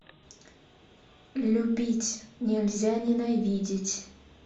любить нельзя ненавидеть